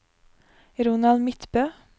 Ronald Midtbø